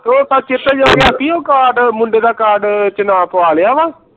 ਤੇ ਸੱਚ ਉਹ ਉਹ card ਮੁੰਡੇ ਦਾ card ਚ ਨਾ ਪਵਾ ਲਿਆ